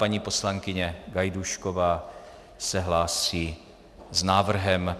Paní poslankyně Gajdůšková se hlásí s návrhem.